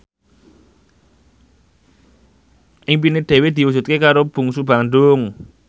impine Dewi diwujudke karo Bungsu Bandung